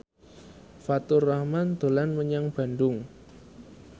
Faturrahman dolan menyang Bandung